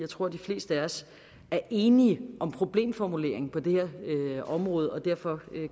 tror at de fleste af os er enige om problemformuleringen på det her område og derfor